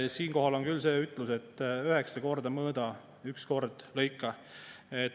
Siinkohal on küll see ütlus, et üheksa korda mõõda, üks kord lõika.